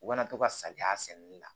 U kana to ka saliya sɛnɛni la